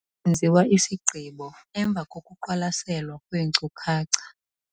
Kwenziwa isigqibo emva kokuqwalaselwa kweenkcukacha.